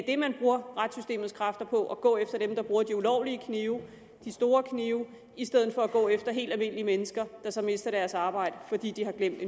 det man bruger retssystemets kræfter på altså at gå efter dem der bruger de ulovlige knive de store knive i stedet for at gå efter helt almindelige mennesker der så mister deres arbejde fordi de har glemt